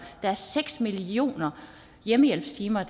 der er seks millioner hjemmehjælpstimer